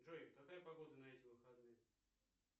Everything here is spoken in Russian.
джой какая погода на эти выходные